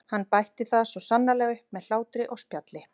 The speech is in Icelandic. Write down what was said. Hann bætti það svo sannarlega upp með hlátri og spjalli.